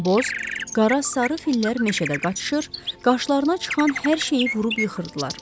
Boz, qara və sarı fillər meşədə qaçışır, qarşılarına çıxan hər şeyi vurub yıxırdılar.